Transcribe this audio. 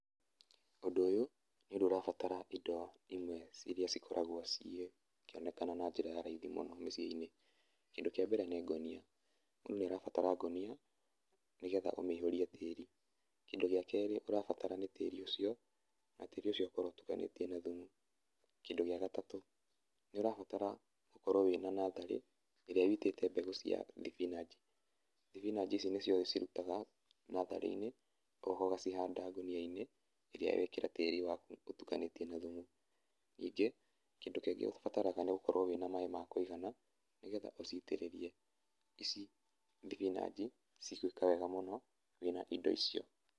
Ũndũ ũyũ, nĩ ũndũ ũrabatara indo imwe iria cikoragwo cikĩonekana na njĩra ya raithi mũno mĩciĩ-inĩ. Kĩndũ kĩa mbere nĩ ngũnia, mũndũ nĩ arabatara ngũnia nĩgetha ũmĩihũrie tĩri. Kĩndũ gĩa kerĩ ũrabatara nĩ tĩri ũcio, na tĩri ũcio ũkorwo ũtukanĩtie na thumu. Kĩndũ gĩa gatatũ nĩ ũrabatara gũkorwo wĩna natharĩ ĩrĩa ũitĩte mbegũ cia thibinanji. Thibinanji icio nĩcio ũcirutaga natharĩ-inĩ, ũgoka ũgacihanda ngũnia-inĩ iria wekĩra tĩri waku ũtukanĩtie na thumu. Ningĩ, kĩndũ kĩngĩ ũbataraga nĩ ũkorwo wĩna maĩ ma kũigana, nĩgetha ũcitĩrĩrie. Ici thibinanji cigwĩka wega mũno wĩna indo icio.